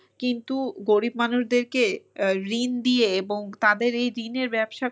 কিন্তু গরিব মানুষদেরকে ঋণ দিয়ে এবং তাদের এই ঋণের ব্যবসা করতে